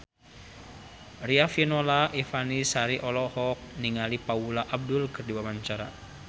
Riafinola Ifani Sari olohok ningali Paula Abdul keur diwawancara